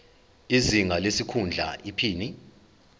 izinga lesikhundla iphini